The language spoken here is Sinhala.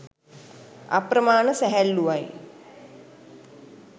අප්‍රමාන සැහැල්ලුවයි.